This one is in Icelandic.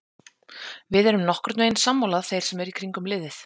Við erum nokkurnveginn sammála þeir sem eru í kringum liðið.